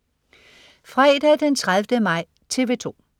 Fredag den 30. maj - TV 2: